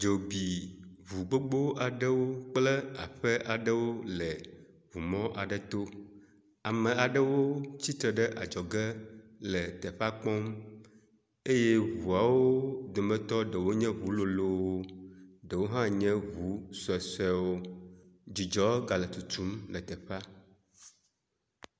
Dzo bi ŋu gbogbo aɖewo kple aƒe aɖewo le ŋu mɔ aɖe to. Ame aɖewo tsitre ɖe adzɔge le teƒea kpɔm eye ŋuawo dometɔ ɖewo nye ŋu lolowo, ɖewo hã nye ŋu suesuewo. Dzidzɔ ga le tutum le teƒea.